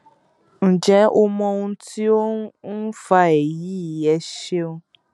ǹjẹ o mọ ohun tí ó ń ń fa èyí ẹ ṣeun